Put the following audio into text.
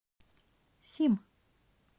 сим